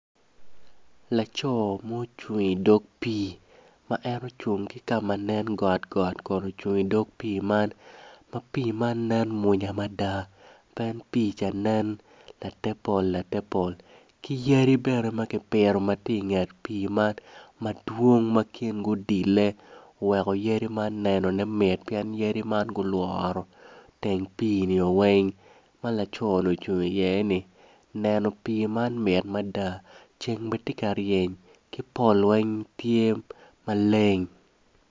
Laco ma ocung idog pii ma en ocung ki ka ma nen got got kun ocung idog pii man ma piine nen mwanya mada pien piine tye latepol latepol ki yadi bene ma kipito ma tye inget pii man madwong ma kingi odille oweko yadi man nenone mit pien yadi man gulworo teng piini oo weng ma laconi ocung iyeni neno pii man mit mada ceng bene tye ka ryeny ki pol weng tye maleng.